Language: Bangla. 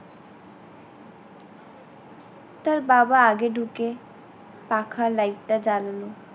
তার বাবা আগে ঢুকে পাখা light টা জ্বাললো